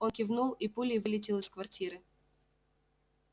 он кивнул и пулей вылетел из квартиры